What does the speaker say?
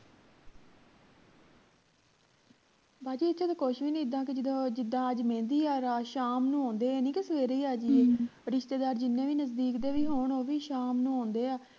ਬਾਜੀ ਇਥੇ ਤਾਂ ਕੁਸ਼ ਵੀ ਨਹੀਂ ਇੱਦਾਂ ਕਿ ਜਦੋਂ ਜਿਦਾਂ ਅੱਜ ਮਹਿੰਦੀ ਆ ਰਾਤ ਸ਼ਾਮ ਨੂੰ ਆਉਂਦੇ ਆ ਇਹ ਨਹੀਂ ਕੇ ਸਵੇਰੇ ਹੀ ਆ ਜਾਈਏ ਰਿਸ਼ਤੇਦਾਰ ਜਿੰਨੇ ਵੀ ਨਜਦੀਕ ਦੇ ਵੀ ਹੋਣ ਉਹ ਵੀ ਸ਼ਾਮ ਨੂੰ ਆਉਂਦੇ ਆ